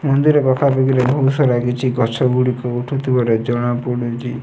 ମନ୍ଦିର ପାଖାପାଖିରେ ବିଭିନ୍ନ ବହୁତ ସାରା କିଛି ଗଛ ଗୁଡିକ ଉଠୁ ଥିବାର ଜଣା ପଡୁଚି।